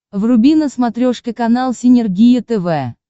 вруби на смотрешке канал синергия тв